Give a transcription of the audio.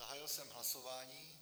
Zahájil jsem hlasování.